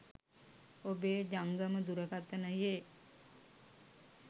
ඔබේ ජංගම දුරකථනයේ